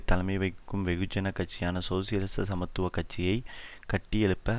தலைமை வகிக்கும் வெகுஜன கட்சியாக சோசியலிச சமத்துவ கட்சியை கட்டியெழுப்ப